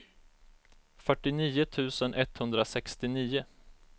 fyrtionio tusen etthundrasextionio